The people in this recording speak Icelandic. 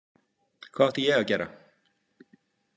Hvað átti ég að gera?